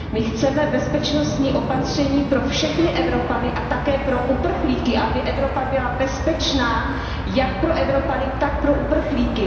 My chceme bezpečnostní opatření pro všechny Evropany a také pro uprchlíky, aby Evropa byla bezpečná jak pro Evropany, tak pro uprchlíky.